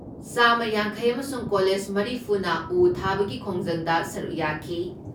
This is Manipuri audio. ꯆꯥꯃ ꯌꯥꯡꯈꯩ ꯑꯃꯁꯨꯡ ꯀꯂꯦꯖ ꯃꯔꯤꯐꯨ ꯅ ꯎ ꯊꯥꯕꯒꯤ ꯈꯣꯡꯖꯪꯗ ꯁꯔꯨꯛ ꯌꯥꯈꯤ ꯫